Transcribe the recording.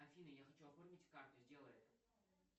афина я хочу оформить карту сделай это